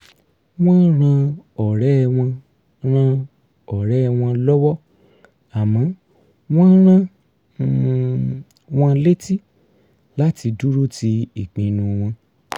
wọ́n ran ọ̀rẹ́ wọn ran ọ̀rẹ́ wọn lọ́wọ́ àmọ́ wọ́n rán um wọn létí láti dúró ti ìpinnu wọn